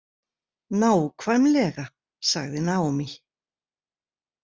Nákvæmlega, sagði Naomi.